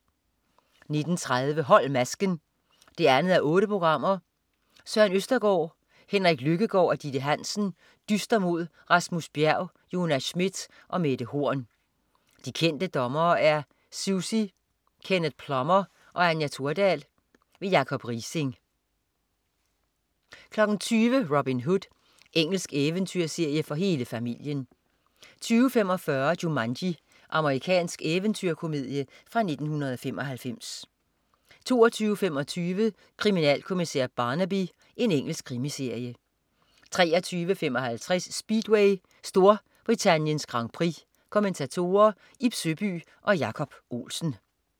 19.30 Hold masken 2:8. Søren Østergaard, Henrik Lykkegaard og Ditte Hansen dyster mod Rasmus Bjerg, Jonas Schmidt og Mette Horn. De kendte dommere er Sussi, Kenneth Plummer og Anja Thordal. Jacob Riising 20.00 Robin Hood. Engelsk eventyrserie for hele familien 20.45 Jumanji. Amerikansk eventyrkomedie fra 1995 22.25 Kriminalkommissær Barnaby. Engelsk krimiserie 23.55 Speedway: Storbrittaniens Grand Prix. Kommentatorer: Ib Søby og Jacob Olsen